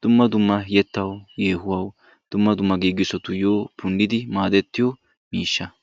dumma dumma yettaw yehuwaaw dumma dumma giigissotuyyo punidi maaddetiyo miishsha.